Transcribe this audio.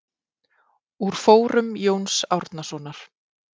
Úr fórum Jóns Árnasonar.